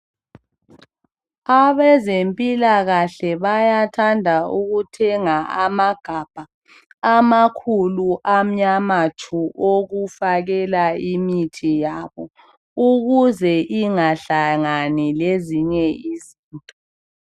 Abezempilakahle bayathanda ukuthenga amagabha amakhulu amnyama tshu .Okufakela imithi yabo ukuze ingahlangani lezinye izinto.